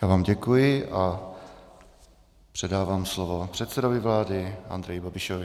Já vám děkuji a předávám slovo předsedovi vlády Andreji Babišovi.